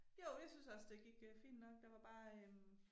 Jo jeg synes også det gik øh fint nok der var bare øh